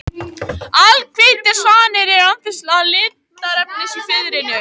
Alhvítir svanir eru án þessa litarefnis í fiðrinu.